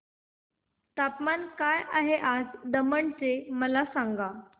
तापमान काय आहे आज दमण चे मला सांगा